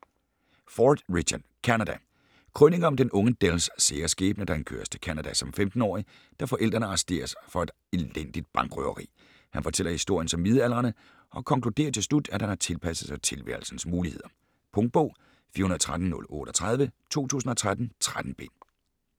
Ford, Richard: Canada Krønike om den unge Dells sære skæbne, da han køres til Canada som 15-årig, da forældrene arresteres for et elendigt bankrøveri. Han fortæller historien som midaldrende, og konkluderer til slut, at han har tilpasset sig tilværelsens muligheder. Punktbog 413038 2013. 13 bind.